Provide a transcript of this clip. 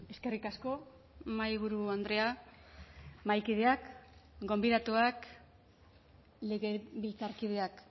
eskerrik asko mahaiburu andrea mahaikideak gonbidatuak legebiltzarkideak